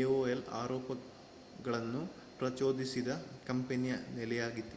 aol ಆರೋಪಗಳನ್ನು ಪ್ರಚೋದಿಸಿದ ಕಂಪನಿಯ ನೆಲೆಯಾಗಿದೆ